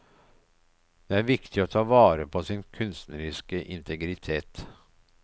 Det er viktig å ta vare på sin kunstneriske integritet.